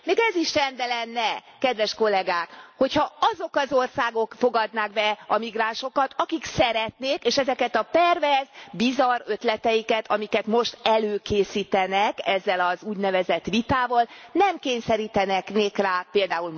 Még ez is rendben lenne, kedves Kollégák, hogy ha azok az országok fogadnák be a migránsokat, akik szeretnék, és ezeket a perverz, bizarr ötleteiket, amiket most előkészítenek, ezzel az úgynevezett vitával, nem kényszerítenék rá pl.